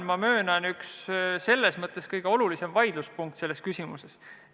Ma möönan, et see on üks kõige olulisemaid vaidluspunkte selles küsimuses.